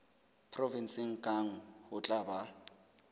provenseng kang ho tla ba